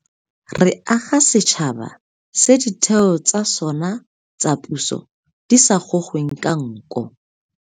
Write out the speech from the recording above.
Re aga setšhaba se ditheo tsa sona tsa puso di sa gogweng ka nko.